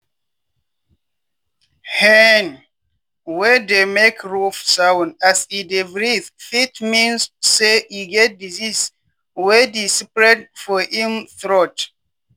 hen wey dey make rough sound as e dey breathe fit mean say e get disease wey dey spread for im throat.